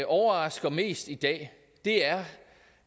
overrasker mest i dag er